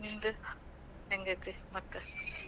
ನಿಂದು ಹೆಂಗೈತಿ ಮತ್ತ?